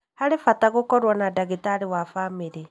Harĩ bata gũkorwo na ndagĩtarĩ wa bamĩrĩ